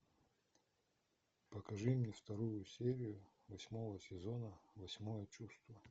покажи мне вторую серию восьмого сезона восьмое чувство